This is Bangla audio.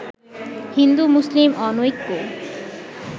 হিন্দু-মুসলিম অনৈক্যে